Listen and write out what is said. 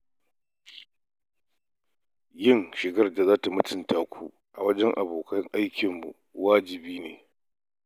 Yin shigar da za ta mutunta ku gun abokan hulɗarmu waji ne.